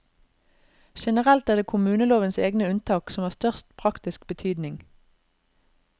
Generelt er det kommunelovens egne unntak som har størst praktisk betydning.